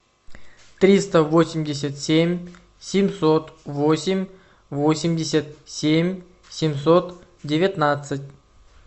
триста восемьдесят семь семьсот восемь восемьдесят семь семьсот девятнадцать